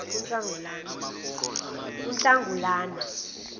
kunhlangulana